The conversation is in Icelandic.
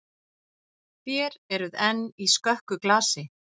Þér eruð enn í skökku glasi.